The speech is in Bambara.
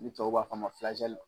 Ni tubabuw b'a f'a ma